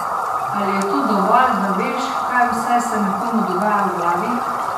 Ali je to dovolj, da veš, kaj vse se nekomu dogaja v glavi?